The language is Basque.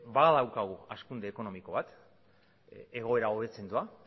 badaukagu hazkunde ekonomiko bat egoera hobetzen doa